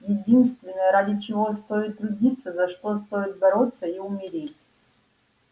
единственное ради чего стоит трудиться за что стоит бороться и умереть